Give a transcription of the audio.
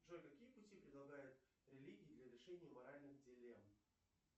джой какие пути предлагают религии для решения моральных дилемм